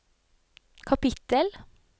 kapittel